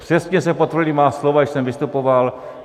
Přesně se potvrdila má slova, když jsem vystupoval.